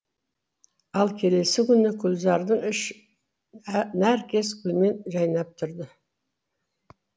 ал келесі күні гүлзардың іші нәркес гүлмен жайнап тұрды